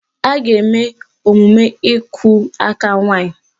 A ga-eme emume ịkụ aka nwaanyị